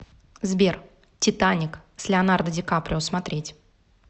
сбер титаник с леанардо ди каприо смотреть